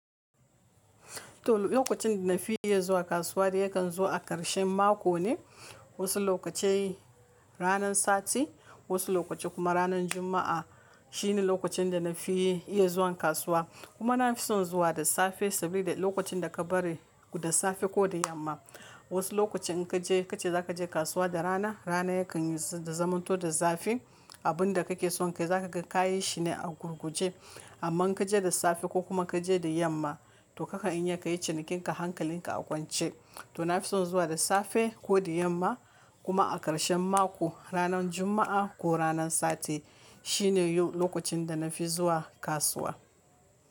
To lokacin da nafi iya zuwa kasuwa de yakan zo a ƙarshen mako ne. Wasu lokaci ranan sati, wasu lokaci kuma ranar Juma'a shine lokacin da nafi iya zuwa kasuwa. Kuma na fi son zuwa da safe saboda lokacin da ka bari da safe ko da yamma. Wasu lokacin in kaje kace za kaje kasuwa da rana, rana yakan yi zamanto da zafi. Abun da kake son kai za kaga kayi shine a gurguje. Amma in kaje da safe ko kuma kaje da yamma to kakan iya kayi cinikin ka, hankalin ka a kwance. To na fi son zuwa da safe ko da yamma kuma a ƙarshen mako, ranar Juma'a ko ranan Sati shine lokacin da na fi zuwa kasuwa.